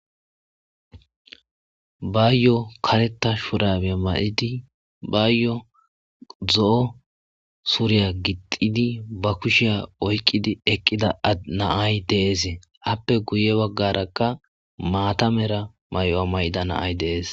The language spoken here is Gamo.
bayo kareta shurabiya may7idi bayo zo7o suriya gixidi ba kushiya oykqidi eqqida adnaay deesee appe guye baggarakka maatamera mayuwa may7ida naay dees